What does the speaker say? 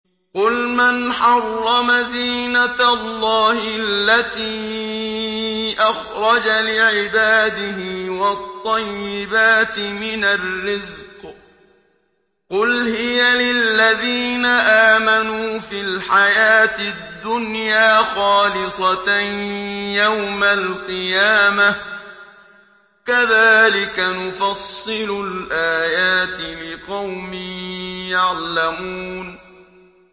قُلْ مَنْ حَرَّمَ زِينَةَ اللَّهِ الَّتِي أَخْرَجَ لِعِبَادِهِ وَالطَّيِّبَاتِ مِنَ الرِّزْقِ ۚ قُلْ هِيَ لِلَّذِينَ آمَنُوا فِي الْحَيَاةِ الدُّنْيَا خَالِصَةً يَوْمَ الْقِيَامَةِ ۗ كَذَٰلِكَ نُفَصِّلُ الْآيَاتِ لِقَوْمٍ يَعْلَمُونَ